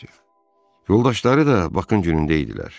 Yoldaşları da Bakın günündə idilər.